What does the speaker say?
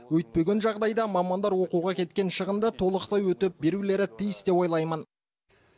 өйтпеген жағыдайда мамандар оқуға кеткен шығынды толықтай өтеп берулері тиіс деп ойлаймын